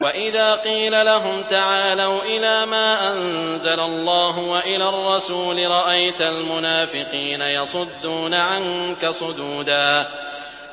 وَإِذَا قِيلَ لَهُمْ تَعَالَوْا إِلَىٰ مَا أَنزَلَ اللَّهُ وَإِلَى الرَّسُولِ رَأَيْتَ الْمُنَافِقِينَ يَصُدُّونَ عَنكَ صُدُودًا